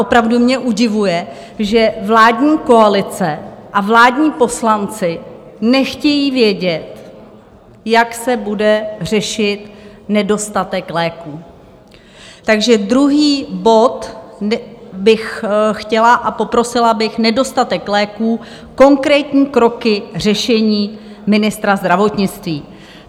Opravdu mě udivuje, že vládní koalice a vládní poslanci nechtějí vědět, jak se bude řešit nedostatek léků, takže druhý bod bych chtěla a poprosila bych: Nedostatek léků, konkrétní kroky řešení ministra zdravotnictví.